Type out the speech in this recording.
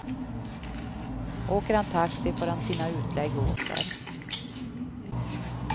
Åker han taxi får han sina utlägg åter.